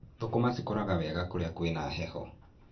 Thũkũma cikũraga wega kũrĩa kwĩna heho.